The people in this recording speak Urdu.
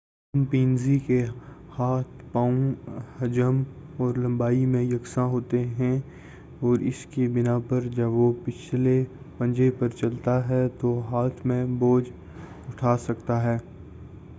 چمپینزی کے ہاتھ پاؤں حجم اور لمبائی میں یکساں ہوتے ہیں اور اس کی بنا پر جب وہ پچھلے پنجے پر چلتا ہے تو ہاتھ میں بوجھ اٹھا سکتا ہے